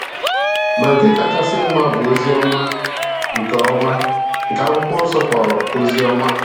Ma nke kachasị mma bụ ozi ọma, nke ọma, nke Akwụkwọ Nsọ kpọrọ Oziọma.